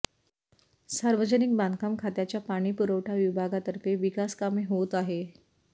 सार्वजनिक बांधकाम खात्याच्या पाणी पुरवठा विभागातर्फे विकासकामे होत आहे